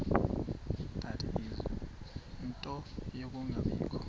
ie nto yokungabikho